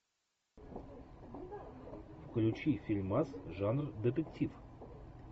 включи фильмас жанр детектив